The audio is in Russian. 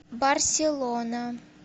барселона